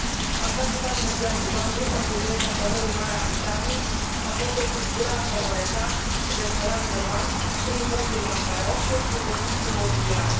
Aș vrea să dau un exemplu doar în urmă cu 3 săptămâni, în Marea Britanie, a fost destructurată o rețea de spălare de bani prin conturi bancare offshore și investiții imobiliare.